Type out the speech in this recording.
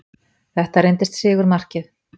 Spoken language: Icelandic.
Þetta reyndist sigurmarkið